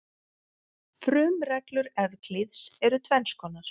Frumreglur Evklíðs eru tvenns konar.